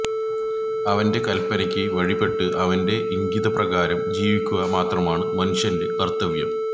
അവന്റെ കല്പനക്ക് വഴിപ്പെട്ട് അവന്റെ ഇംഗിതപ്രകാരം ജീവിക്കുക മാത്രമാണ് മനുഷ്യന്റെ കര്ത്തവ്യം